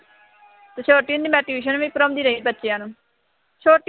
ਛੋਟੀ ਹੁੰਦੀ ਮੈਂ ਟਿਉਸ਼ਨ ਵੀ ਪੜ੍ਹਾਉਂਦੀ ਰਹੀ ਬੱਚਿਆਂ ਨੂੰ, ਛੋਟੀ